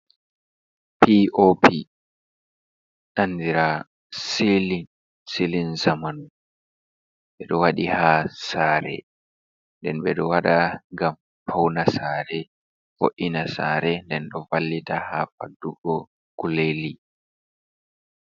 POP andira siilin, siilin zamanu ɓe ɗo waɗi haa saare, nden ɓe ɗo waɗa ngam pauna saare, fe'una saare, nden ɗo vallita haa faddugo kuleji.